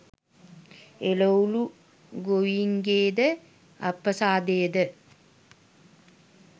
එළවළු ගොවීන්ගේද අප්‍රසාදය ද